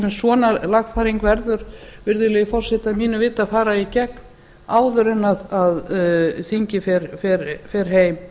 til dæmis svona lagfæring verður virðulegi forseti að mínu viti að fara í gegn áður en þingið fer heim